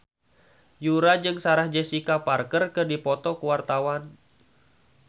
Yura jeung Sarah Jessica Parker keur dipoto ku wartawan